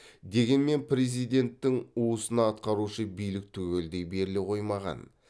дегенмен президенттің уысына атқарушы билік түгелдей беріле қоймаған